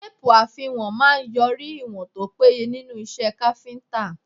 Téèpù àfiwọ̀n máà ń yọrí ìwọ̀n tó péye nínú iṣẹ́ káfíńtà.